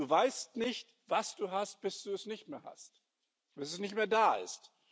Du weißt nicht, was du hast, bis du es nicht mehr hast, bis es nicht mehr da ist.